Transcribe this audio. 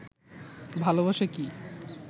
ভালবাসা কি?